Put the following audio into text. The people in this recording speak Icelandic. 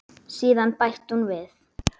Síðan bætti hún við.